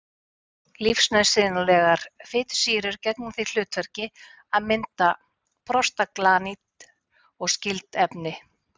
Lífsnauðsynlegar fitusýrur gegna því hlutverki að mynda prostaglandín og skyld efni.